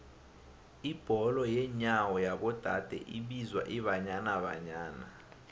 ibholo yenyawo yabo dade ibizwa ibanyana banyana